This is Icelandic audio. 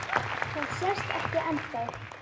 Það sést ekki ennþá.